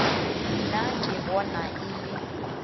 nna ke bona e le